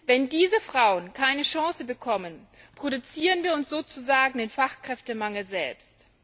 Wenn diese Frauen keine Chance bekommen, produzieren wir uns sozusagen den Fachkräftemangel selbst.